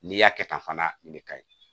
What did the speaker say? N'i y'a kɛ tan fana nin de ka ɲi